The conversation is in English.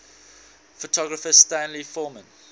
photographer stanley forman